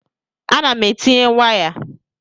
A na m etinye waya